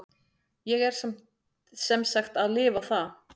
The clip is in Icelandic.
Ég er sem sagt að lifa það.